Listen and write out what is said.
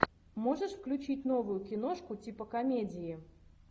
можешь включить новую киношку типа комедии